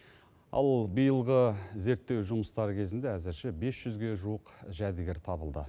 ал биылғы зерттеу жұмыстары кезінде әзірше бес жүзге жуық жәдігер табылды